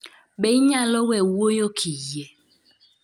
Be inyalo we wuoyo kiyie